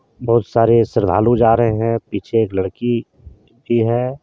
बहुत सारे श्रद्धालु जा रहे हैं पीछे एक लड़की भी है।